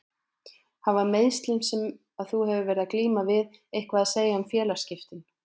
Hafa meiðslin sem að þú hefur verið að glíma við eitthvað að segja um félagsskiptin?